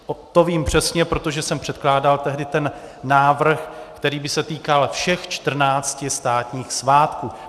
To vím přesně, protože jsem předkládal tehdy ten návrh, který by se týkal všech 14 státních svátků.